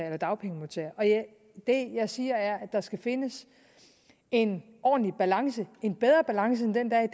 eller dagpengemodtager det jeg siger er at der skal findes en ordentlig balance en bedre balance end den der er